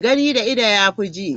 Gani da ido yafi ji